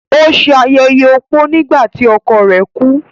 Ó se ayẹyẹ opó nígbà tí ọkọ rẹ̀ kú.